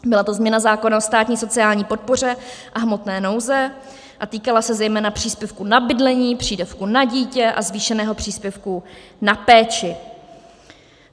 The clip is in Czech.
Byla to změna zákona o státní sociální podpoře a hmotné nouzi a týkala se zejména příspěvku na bydlení, přídavku na dítě a zvýšeného příspěvku na péči.